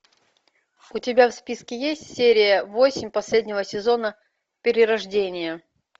у тебя в списке есть серия восемь последнего сезона перерождение